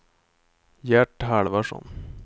Gert Halvarsson